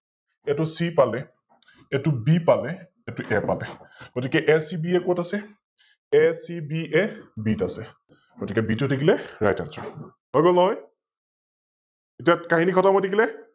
এইতো C পালে, এইতো B পালে, এইতো A পালে, গতিকে ACB কত আছে? ACB, B ত আছে । গতিকে B টো হৈ থাকিলে RightAnswer । হৈ গল নহয়? এতিয়া কাহিনি খতম হৈ থাকিলে ।